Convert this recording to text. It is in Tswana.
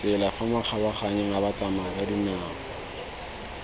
tsela fa makgabaganyong a batsamayakadinao